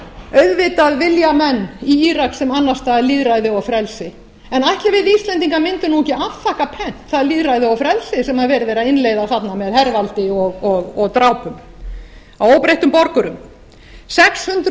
auðvitað vilja menn í írak sem annars staðar lýðræði og frelsi ætli við íslendingar mundum ekki afþakka pent það lýðræði og frelsi sem verið er að innleiða þarna með hervaldi og drápum á óbreyttum borgurum sex hundruð fimmtíu